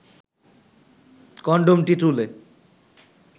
কনডমটি তুলে